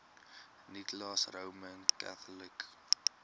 nicholas roman catholic